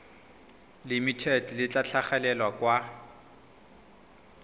limited le tla tlhagelela kwa